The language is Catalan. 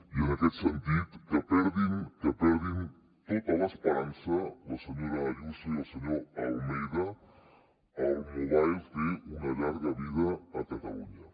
i en aquest sentit que perdin que perdin tota l’esperança la senyora ayuso i el senyor almeida el mobile té una llarga vida a catalunya